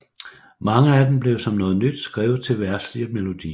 Mange af dem blev som noget nyt skrevet til verdslige melodier